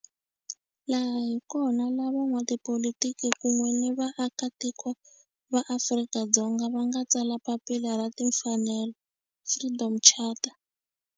Laha hi kona la van'watipolitiki kun'we ni vaaka tiko va Afrika-Dzonga va nga tsala papila ra timfanelo, Freedom Charter.